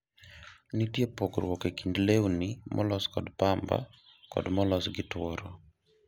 nitie pogruok e kind lewni molos kod pamba kod molos gi tuoro